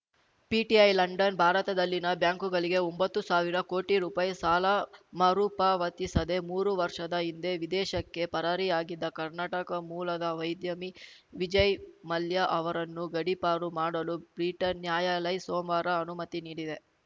PTI London ಭಾರತದಲ್ಲಿನ ಬ್ಯಾಂಕುಗಳಿಗೆ ಒಂಬತ್ತು ಸಾವಿರ ಕೋಟಿ ರುಪಾಯಿ ಸಾಲ ಮರುಪಾವತಿಸದೇ ಮೂರು ವರ್ಷದ ಹಿಂದೆ ವಿದೇಶಕ್ಕೆ ಪರಾರಿಯಾಗಿದ್ದ ಕರ್ನಾಟಕ ಮೂಲದ ವೈದ್ಯಮಿ ವಿಜಯ್‌ ಮಲ್ಯ ಅವರನ್ನು ಗಡೀಪಾರು ಮಾಡಲು ಬ್ರಿಟನ್‌ ನ್ಯಾಯಾಲಯ್ ಸೋಮವಾರ ಅನುಮತಿ ನೀಡಿದೆ